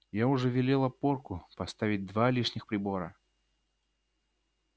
я уже велела порку поставить два лишних прибора